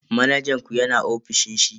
Manajan ku yana ofishin shi?